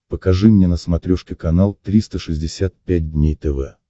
покажи мне на смотрешке канал триста шестьдесят пять дней тв